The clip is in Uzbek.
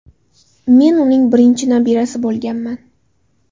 Men uning birinchi nabirasi bo‘lganman.